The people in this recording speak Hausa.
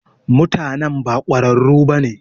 Mutanan ba kwararu bane.